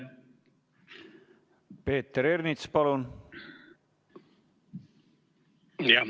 Peeter Ernits, palun!